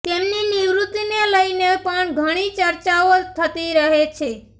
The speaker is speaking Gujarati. તેમની નિવૃત્તિને લઈને પણ ઘણી ચર્ચાઓ થતી રહે છે